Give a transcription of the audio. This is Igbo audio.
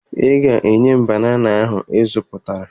Ị ga-enye m banana ahụ ị zụtara